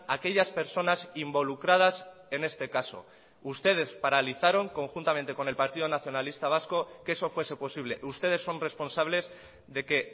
aquellas personas involucradas en este caso ustedes paralizaron conjuntamente con el partido nacionalista vasco que eso fuese posible ustedes son responsables de que